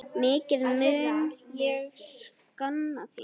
Mikið mun ég sakna þín.